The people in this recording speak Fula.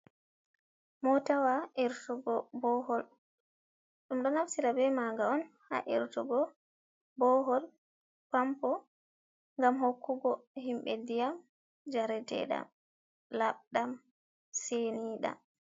Motawa irtugo bohol ɗum ɗo naftira be maga on ha irtugo bohol pampo ngam hokkugo himɓe ndiyam jaretedam labdam senidam.